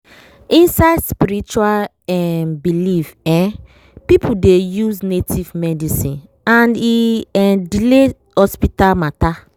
inside spiritual um belief um people dey use native medicine and e um delay hospital matter.